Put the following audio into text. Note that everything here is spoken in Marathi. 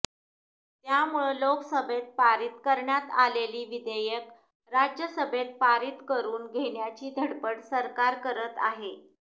त्यामुळं लोकसभेत पारित करण्यात आलेली विधेयकं राज्यसभेत पारित करून घेण्याची धडपड सरकार करत आहे